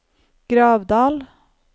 Gravdal